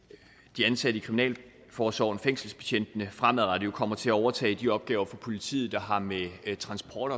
de ansatte i kriminalforsorgen fængselsbetjentene fremadrettet kommer til at overtage de opgaver for politiet der har med transport